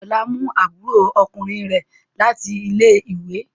Ọlá mú àbúrò ọkùnrin rẹ̀ láti ilé-ìwé.